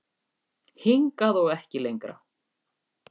Hingað og ekki lengra